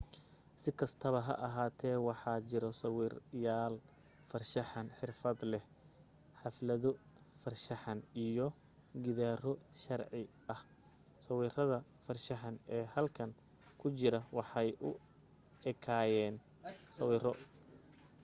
si kastaba ha ahaatee waxa jira sawirlayaal farshaxan xirfadleh xaflado farshaxan iyo gidaaro sharci ah sawirada farshaxan ee halkan ku jira waxay u ekaayeen sawiro